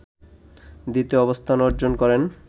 দ্বিতীয় অবস্থান অর্জন করেন